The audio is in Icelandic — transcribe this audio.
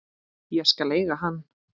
Ég skal eiga hann.